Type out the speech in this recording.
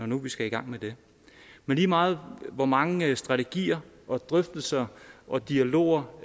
nu vi skal i gang med det men lige meget hvor mange strategier og drøftelser og dialoger